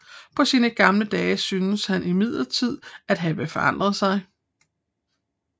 På sine gamle dage syntes han imidlertid at have forandret sig